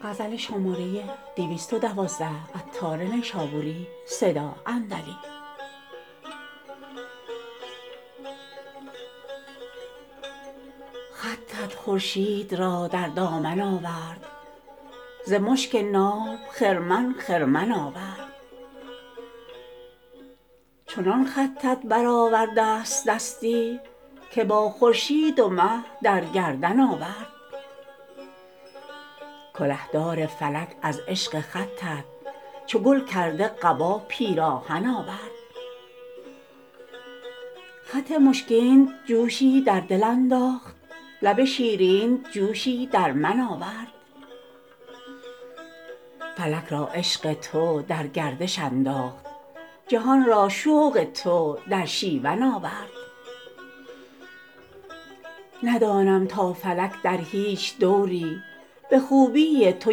خطت خورشید را در دامن آورد ز مشک ناب خرمن خرمن آورد چنان خطت برآوردست دستی که با خورشید و مه در گردن آورد کله دار فلک از عشق خطت چو گل کرده قبا پیراهن آورد خط مشکینت جوشی در دل انداخت لب شیرینت جوشی در من آورد فلک را عشق تو در گردش انداخت جهان را شوق تو در شیون آورد ندانم تا فلک در هیچ دوری به خوبی تو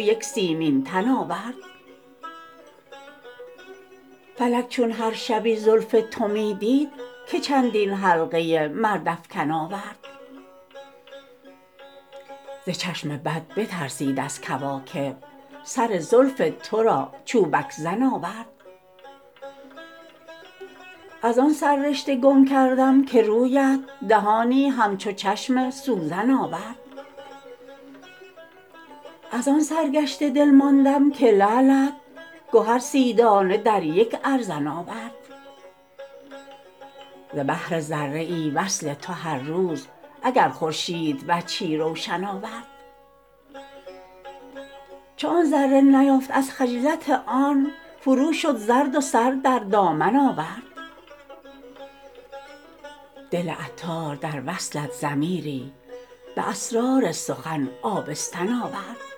یک سیمین تن آورد فلک چون هر شبی زلف تو می دید که چندین حلقه مردافکن آورد ز چشم بد بترسید از کواکب سر زلف تو را چوبک زن آورد از آن سر رشته گم کردم که رویت دهانی همچو چشم سوزن آورد از آن سرگشته دل ماندم که لعلت گهر سی دانه در یک ارزن آورد ز بهر ذره ای وصل تو هر روز اگر خورشید وجهی روشن آورد چون آن ذره نیافت از خجلت آن فرو شد زرد و سر در دامن آورد دل عطار در وصلت ضمیری به اسرار سخن آبستن آورد